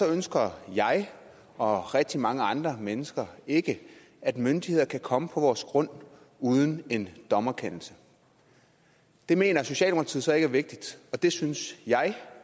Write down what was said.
ønsker jeg og rigtig mange andre mennesker ikke at myndigheder kan komme på vores grund uden en dommerkendelse det mener socialdemokratiet så ikke er vigtigt og det synes jeg